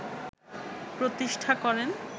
প্রতিষ্ঠা করেন